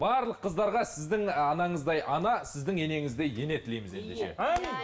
барлық қыздарға сіздің анаңыздай ана сіздің енеңіздей ене тілейміз ендеше иә